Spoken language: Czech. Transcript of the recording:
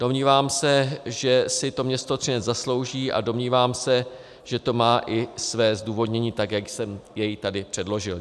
Domnívám se, že si to město Třinec zaslouží, a domnívám se, že to má i své zdůvodnění, tak jak jsem jej tady předložil.